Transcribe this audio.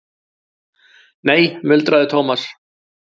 Nei muldraði Thomas.